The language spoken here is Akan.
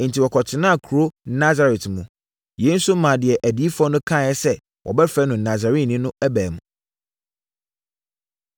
Enti, wɔkɔtenaa kuro Nasaret mu. Yei nso maa deɛ adiyifoɔ no kaeɛ sɛ, “Wɔbɛfrɛ no Nasareni” no baa mu.